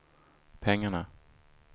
pengarna